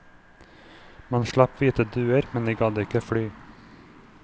Man slapp hvite duer, men de gadd ikke fly.